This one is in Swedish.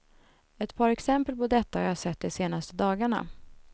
Ett par exempel på detta har jag sett de senaste dagarna.